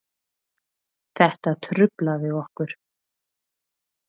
Þetta truflaði okkur